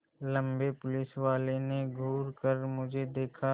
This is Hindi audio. लम्बे पुलिसवाले ने घूर कर मुझे देखा